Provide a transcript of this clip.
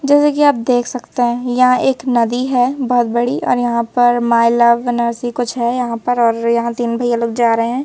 जैसे कि आप देख सकते हैं यहां एक नदी है बहुत बड़ी और यहां पर माय लव नरसी कुछ है यहां पर और यहां तीन भैया लोग जा रहे है।